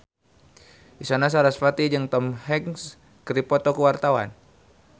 Isyana Sarasvati jeung Tom Hanks keur dipoto ku wartawan